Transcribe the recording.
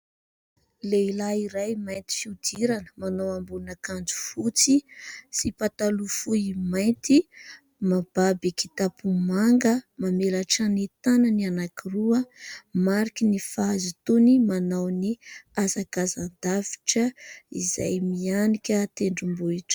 Lehilahy iray mainty fihodirana manao ambonina akanjo fotsy sy pataloha fohy mainty, mibaby kitapo manga mamelatra ny tanany anankiroa mariky ny fahazotoany manao ny hazakazan-davitra izay mihanika tendrombohitra.